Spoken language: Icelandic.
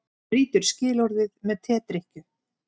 Brýtur skilorðið með tedrykkju